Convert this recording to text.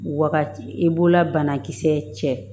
Wagati i b'ola banakisɛ cɛ